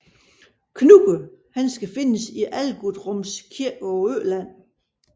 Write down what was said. Knud skal findes i Algutsrums kirke på Øland